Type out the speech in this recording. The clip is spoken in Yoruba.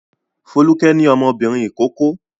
Folúkẹ́ ní ọmọbìnrin ìkókó.